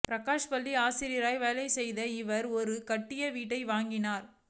பிரகாஷ் பள்ளி ஆசிரியராக வேலை செய்யும் இவர் ஒரு கட்டிய வீட்டை வாங்கினார்